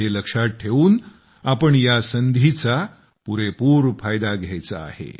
हे लक्षात ठेवून आपण या संधीचा पुरेपूर फायदा घ्यायचा आहे